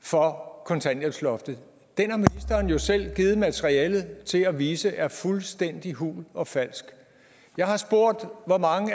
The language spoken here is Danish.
for kontanthjælpsloftet den har ministeren jo selv givet materialet til at vise er fuldstændig hul og falsk jeg har spurgt hvor mange